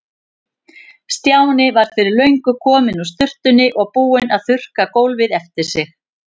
Stjáni var fyrir löngu kominn úr sturtunni og búinn að þurrka gólfið eftir sig.